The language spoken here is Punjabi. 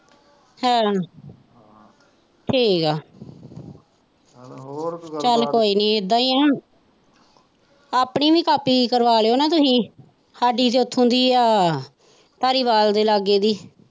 ਹਾ ਠੀਕ ਹੈ ਚੱਲ ਕੋਈ ਨਹੀਂ ਇੱਦਾਂ ਹੀ ਹੈ ਨਾ ਆਪਣੀ ਵੀ ਕਾਪੀ ਕਰਵਾ ਲਉ ਨਾ ਤੁਸੀਂ ਸਾਡੀ ਤਾਂ ਉੱਥੋਂ ਦੀ ਹੈ ਧਾਰੀਵਾਲ ਦੇ ਲਾਗੇ ਦੀ।